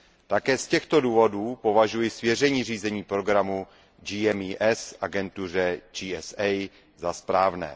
Také z těchto důvodů považuji svěření řízení programu GMES agentuře GSA za správné.